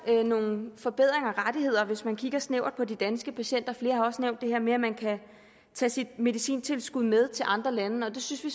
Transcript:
nogle forbedringer af rettigheder hvis vi kigger snævert på de danske patienter flere har også nævnt det her med at man kan tage sit medicintilskud med til andre lande og det synes vi